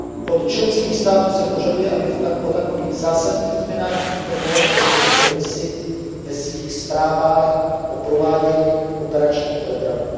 Od členských států se požaduje, aby o takových zásadních změnách informovaly každý rok Komisi ve svých zprávách o provádění operačních programů.